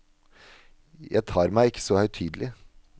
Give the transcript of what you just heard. Jeg tar meg ikke så høytidelig.